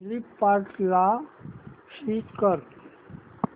फ्लिपकार्टं ला स्विच कर